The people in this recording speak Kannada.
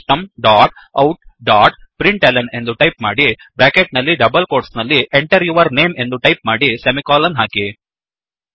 system dot out dot println ಎಂದು ಟೈಪ್ ಮಾಡಿ ಬ್ರ್ಯಾಕೆಟ್ ನಲ್ಲಿ ಡಬಲ್ ಕೋಟ್ಸ್ ನಲ್ಲಿ Enter ಯೂರ್ ನೇಮ್ ಎಂದು ಟೈಪ್ ಮಾಡಿ ಸೆಮಿಕೋಲನ್ ಹಾಕಿ